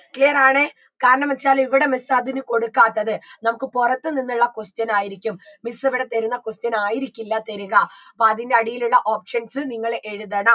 clear ആണ് കാരണം വെച്ചാൽ ഇവിട miss അതിന് കൊടുക്കാത്തത് നമുക്ക് പുറത്ത് നിന്നുള്ള question ആയിരിക്കും miss ഇവിട തരുന്ന question ആയിരിക്കില്ല തരിക അപ്പൊ അതിൻറെ അടിയിലുള്ള options നിങ്ങൾ എഴുതണം